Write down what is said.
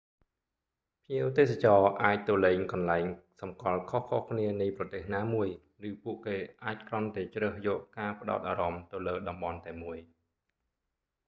ភ្ញៀវទេសចរណ៍អាចទៅលេងកន្លែងសំគាល់ខុសៗគ្នានៃប្រទេសណាមួយ ឬពួកគេអាចគ្រាន់តែជ្រើសយកការផ្ដោតអារម្មណ៍ទៅលើតំបន់តែមួយ